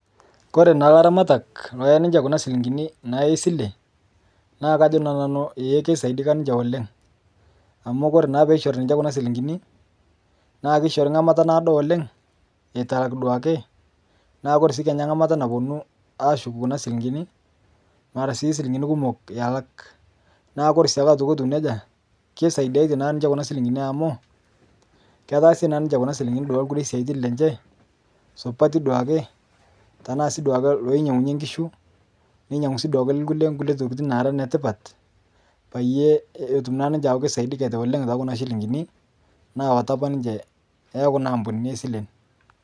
Kore naa laramatak loyaa naa ninshe Kuna silinkini esilee naa kajo Nanu ee keisaidika ninshe oleng' amu koree naa peishori ninshe Kuna silinkinii naa keishori ng'amata naodo oleng' etu elak duake naa Kore sii Kenya ngamata naponuu ashuk kuna silinkini mara sii silinkini kumok elak naa kore siakee etuu neja keisaidiatee naa ninshee kuna silinkinii amu ketaasie naa ninshe naaduake kuna silinkinii lkulie siatin lenshe supatii duakee tanaa sii duake loinyeng'unye nkishu onkulie tokitin naara netipat payie etum naa ninshe aaku keisaidiketee oleng' tekunaa shilinginii nawataa apa ninshe te kuna ampunini esilen.